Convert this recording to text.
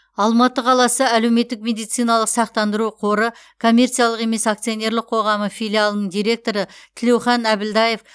алматы қаласы әлеуметтік медициналық сақтандыру қоры коммерциялық емес акционерлік қоғамы филиалының директоры тілеухан әбілдаев